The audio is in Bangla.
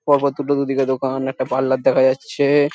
পরপর দুটো দুদিকে দোকান একটা পার্লার দেখা যাচ্ছে-এ--